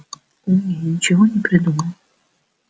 умнее ничего не придумал